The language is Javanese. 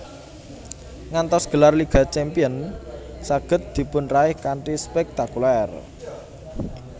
Ngantos gelar Liga Champions saged dipunraih kanthi spektakuler